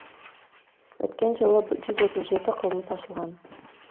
өткен жылы жүз отыз жеті қылмыс ашылған